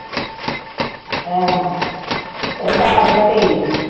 ਆਹੋ ਉਹ ਖਾ ਕੇ ਹਟੇ ਸੀ।